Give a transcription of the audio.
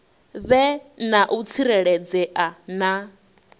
vhe na u tsireledzea na